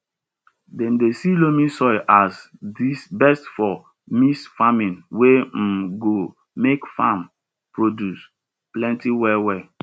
dem dey see loamy soil as di best for mixed farming wey um go make farm produce plenty well well